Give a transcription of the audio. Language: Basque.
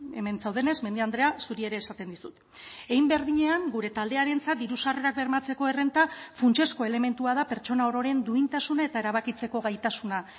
hemen zaudenez mendia andrea zuri ere esaten dizut hein berdinean gure taldearentzat diru sarrerak bermatzeko errenta funtsezko elementua da pertsona ororen duintasuna eta erabakitzeko gaitasuna